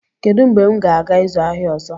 Kedu mgbe m ga-aga ịzụ ahịa ọzọ?